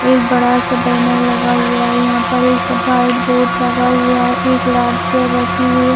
एक बड़ा सा बैनर लगा हुआ है यहाँ पर एक सा वाइट बोर्ड लगा हुआ है एक लाल चेयर रखी हुई है।